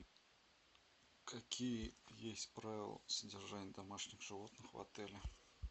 какие есть правила содержания домашних животных в отеле